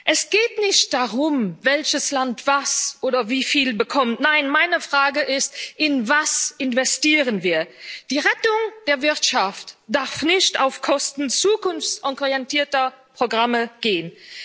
Es geht nicht darum, welches Land was oder wie viel bekommt, nein, meine Frage ist In was investieren wir? Die Rettung der Wirtschaft darf nicht auf Kosten zukunftsorientierter Programme gehen.